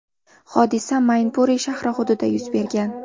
Hodisa Maynpuri shahri hududida yuz bergan.